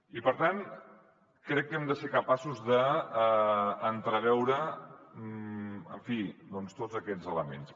i per tant crec que hem de ser capaços d’entreveure en fi tots aquests elements